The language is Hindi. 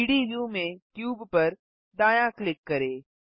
3डी व्यू में क्यूब पर दायाँ क्लिक करें